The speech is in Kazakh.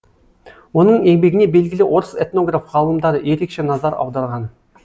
оның еңбегіне белгілі орыс этнограф ғалымдары ерекше назар аударған